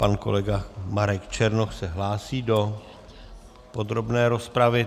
Pan kolega Marek Černoch se hlásí do podrobné rozpravy.